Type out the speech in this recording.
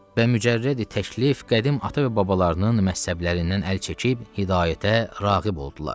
və mücərrəd-i təklif qədim ata və babalarının məzhəblərindən əl çəkib hidayətə rağib oldular.